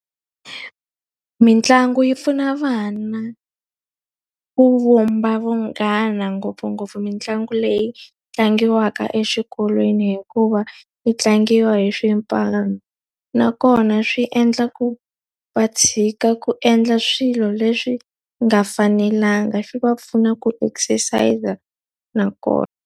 Mitlangu yi pfuna vana ku vumba vunghana ngopfungopfu mitlangu leyi tlangiwaka exikolweni hikuva, yi tlangiwa hi swipano. Nakona swi endla ku va tshika ku endla swilo leswi nga fanelanga, swi va pfuna ku exercise-a nakona.